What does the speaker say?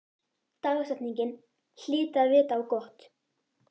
Dagsetningin hlyti að vita á gott.